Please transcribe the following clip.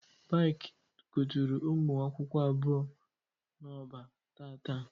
Baiki kuturu ụmụ akwụkwọ abụọ n'Oba tata